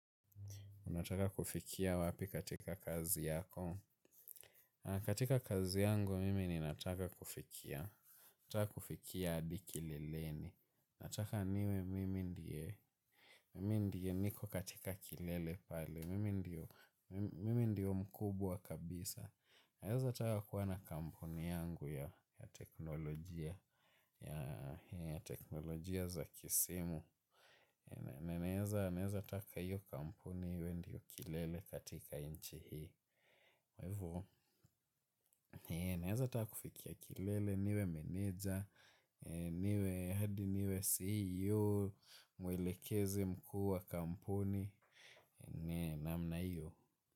Unataka kufikia wapi katika kazi yako. Katika kazi yangu mimi ninataka kufikia. Nataka kufikia hadi kileleni. Nataka niwe mimi ndiye. Mimi ndiye niko katika kilele pale. Mimi ndiyo mkubwa kabisa. Naweza taka kuwa na kampuni yangu ya teknolojia. Ya teknolojia za kisimu. Na naweza taka hiyo kampuni iwe ndiyo kilele katika nchi hii. Naweza taka kufikia kilele niwe meneja, niwe head niwe CEO, mwelekezi mkuu wa kampuni namna hiyo.